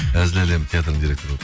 әзіл әлем театрының директоры болып